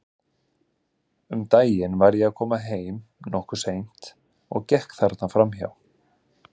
Um daginn var ég að koma heim, nokkuð seint, og gekk þarna fram hjá.